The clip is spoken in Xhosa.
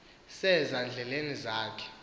seza ndleni zakhe